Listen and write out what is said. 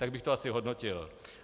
Tak bych to asi hodnotil.